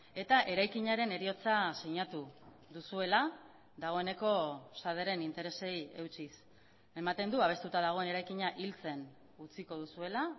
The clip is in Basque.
eta eraikinaren heriotza sinatu duzuela dagoeneko saderen interesei eutsiz ematen du babestuta dagoen eraikina hiltzen utziko duzuela